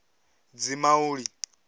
dzimauli